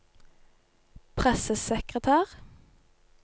pressesekretær